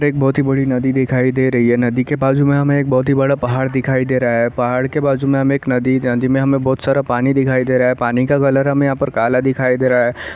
एक बहोत ही बड़ी नदी दिखाई दे रही है नदी के बाजू में हमें एक बहोत ही बड़ा पहाड़ दिखाई दे रहा है पहाड़ के बाजू में हमें एक नदी नदी में हमें बहोत सारा पानी दिखाई दे रहा है पानी का कलर हमें यहाँ पर काला दिखाई दे रहा है।